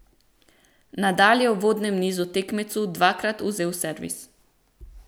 Nadal je v uvodnem nizu tekmecu dvakrat vzel servis.